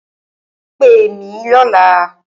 Pè mí lọ̀la!